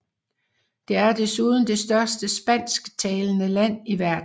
Det er desuden det største spansktalende land i verden